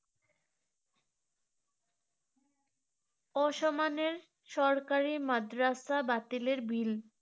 অসমানের সরকারি মাদ্রাসা বাতিলের bill